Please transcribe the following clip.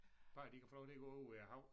Bare de kan få lov til at gå ude ved æ hav